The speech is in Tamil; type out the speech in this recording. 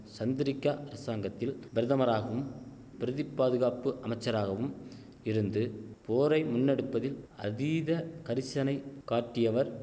சந்திரிக்கா அரசாங்கத்தில் பிரதமராகும் பிரதிப்பாதுகாப்பு அமைச்சராகவும் இருந்து போரை முன்னெடுப்பதில் அதீத கரிசனை காட்டியவர்